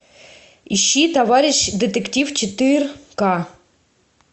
ищи товарищ детектив четыр ка